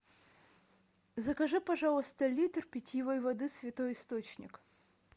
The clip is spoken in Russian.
закажи пожалуйста литр питьевой воды святой источник